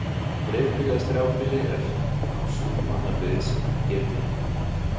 Dreifbýli eða strjálbýli er þá sú mannabyggð sem ekki er þéttbýli.